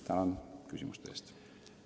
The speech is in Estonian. Tänan küsimuste eest!